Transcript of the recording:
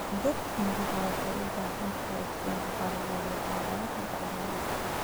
Dhirta miraha waxay u baahan tahay iftiinka qorraxda iyo carrada bacrin ah.